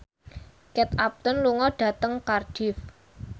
Kate Upton lunga dhateng Cardiff